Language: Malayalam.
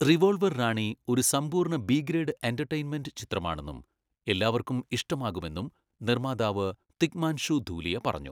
റിവോൾവർ റാണി ഒരു സമ്പൂർണ്ണ ബി ഗ്രേഡ് എൻ്റർടെയ്ൻമെൻ്റ് ചിത്രമാണെന്നും എല്ലാവർക്കും ഇഷ്ടമാകുമെന്നും നിർമ്മാതാവ് തിഗ്മാൻഷു ധൂലിയ പറഞ്ഞു.